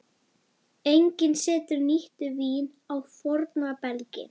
Enginn setur nýtt vín á forna belgi.